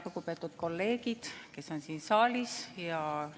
Lugupeetud kolleegid, kes on siin saalis!